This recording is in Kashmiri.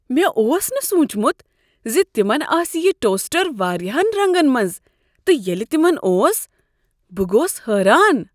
مےٚ اوس نہٕ سوچمت ز تمن آسہ یہ ٹوسٹر واریاہن رنگن منٛز تہٕ ییٚلہ تمن اوس بہٕ گوس حیران۔